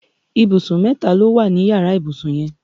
Ìbùsùn mẹ́ta ló wà ní yàrá ìbùsùn yẹn